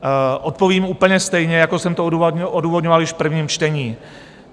Odpovím úplně stejně, jako jsem to odůvodňoval již v prvním čtení.